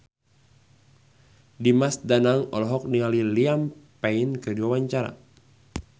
Dimas Danang olohok ningali Liam Payne keur diwawancara